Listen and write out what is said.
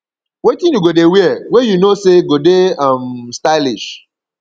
wetin you go dey wear wey you know say go dey um stylish